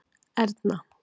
Erna